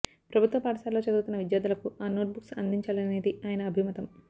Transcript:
ప్రభుత్వ పాఠశాలలో చదువుతున్న విద్యార్థులకు ఆ నోట్ బుక్స్ అందించాలనేది ఆయన అభిమతం